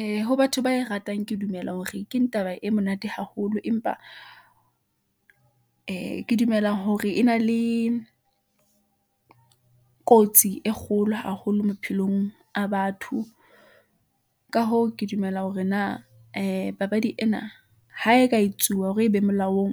Ee ho batho ba e ratang, ke dumela hore keng taba e monate haholo, empa ee ke dumela hore e na le kotsi e kgolo haholo maphelong a batho . Ka hoo, ke dumela hore na ee papadi ena , ha e ka etsuwa hore e be molaong ,